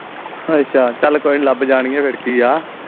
ਅੱਛਾ ਚਲ ਕੋਈ ਲਬ ਜਾਣਗੀਆਂ ਫਿਰ ਕੀ ਆ